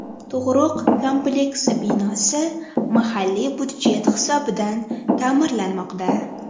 Tug‘ruq kompleksi binosi mahalliy budjet hisobidan ta’mirlanmoqda.